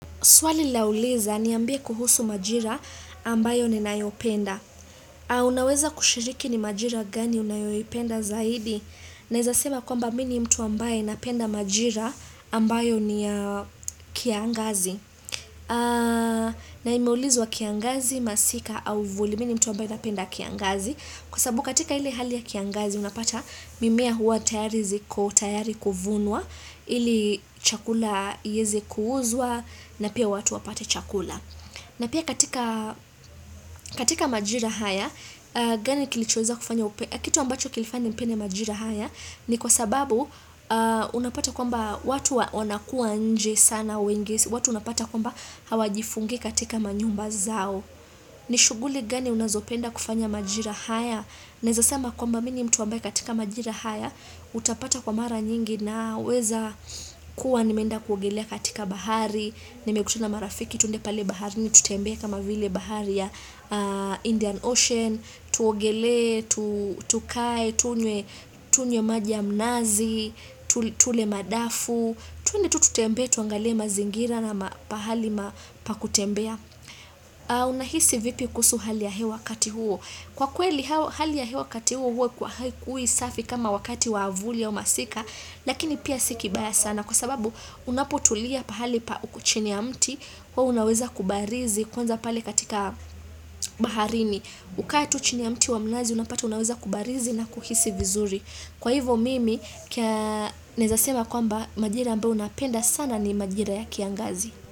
Swali lauliza niambie kuhusu majira ambayo ninayopenda. Unaweza kushiriki ni majira gani unayoipenda zaidi? Naweza sema kwamba mimi ni mtu ambaye napenda majira ambayo ni kiangazi. Na imeulizwa kiangazi masika au vuli mimi ni mtu ambaye napenda kiangazi. Kwa sababu katika ile hali ya kiangazi unapata mimea huwa tayari ziko tayari kuvunwa. Ili chakula iweze kuuzwa na pia watu wapate chakula na pia katika katika majira haya gani kilichoweza kufanya upe kitu ambacho kilifanya nipende majira haya ni kwa sababu unapata kwamba watu wanakuwa nje sana wengi, watu unapata kwamba hawajifungi katika manyumba zao ni shughuli gani unazopenda kufanya majira haya naweza sema kwamba mimi ni mtu ambaye katika majira haya utapata kwa mara nyingi Naweza kuwa nimeenda kuogelea katika bahari Nimekutana na marafiki tuende pale baharini tutembee kama vile bahari ya Indian Ocean Tuogele, tukae, tunywe maji ya mnazi Tule madafu twende tu tutembee, tuangalie mazingira na pahali pa kutembea Unahisi vipi kuhusu hali ya hewa wakati huo Kwa kweli, hali ya hewa wakati huo huwa haikuwi safi kama wakati wavuli au masika Lakini pia si kibaya sana kwa sababu unapotulia pahali pa uko chini ya mti huwa unaweza kubarizi kwanza pale katika baharini kaa tu chini ya mti wa mnazi unapata unaweza kubarizi na kuhisi vizuri Kwa hivyo mimi kia naweza sema kwamba majira ambayo napenda sana ni majira ya kiangazi.